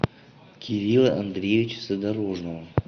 кирилла андреевича задорожного